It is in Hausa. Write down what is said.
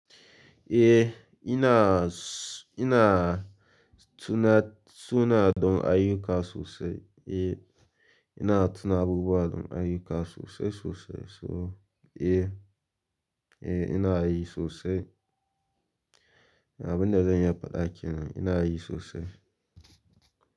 Eh ina suna don ayuka sosai. Eh ina abubuwa don ayyuka sosai sosai. So eh, eh ina yi sosai. Abin da zan iya faɗa ake nan ina yi sosai.